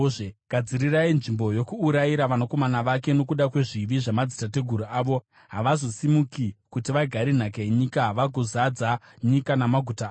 Gadzirirai nzvimbo yokuurayira vanakomana vake nokuda kwezvivi zvamadzitateguru avo; havazosimuki kuti vagare nhaka yenyika vagozadza nyika namaguta avo